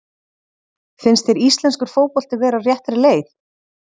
Finnst þér íslenskur fótbolti vera á réttri leið?